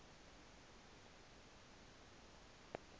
olu enchwa beni